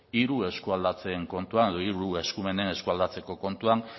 hiru eskualdatzeen kontuan edo hiru eskumenak eskualdatze kontuan